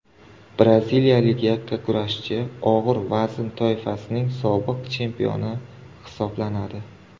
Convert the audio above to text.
Braziliyalik yakkakurashchi og‘ir vazn toifasining sobiq chempioni hisoblanadi.